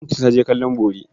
Binta ta je kallon bori.